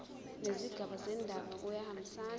nezigaba zendaba kuyahambisana